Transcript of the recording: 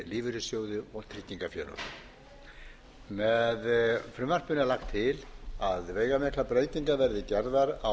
lífeyrissjóði og tryggingafélög með frumvarpinu er lagt til að veigamiklar breytingar verði gerðar á